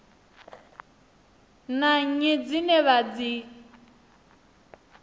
na nnyi dzine vha dzi